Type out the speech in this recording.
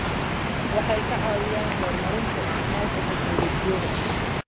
Waxay ka caawiyaan horumarinta isticmaalka tignoolajiyada.